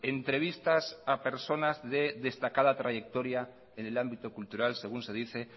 entrevistas a personas de destacada trayectoria en el ámbito cultural según se dice